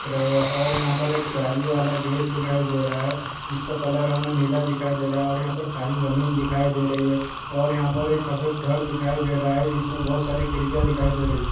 दिख रहे है और यहा पर एक जालीबाला गेट दिखाई दे रहा है जिसका कलर हमे नीला दिखाई दे रहा है और यहा पर खाली जमीन दिखाई दे रही है और यहा पर एक सफेद घर दिखाई दे रहा है जिसमे बहोत सारी खिड़कियां दिखाई दे रही है।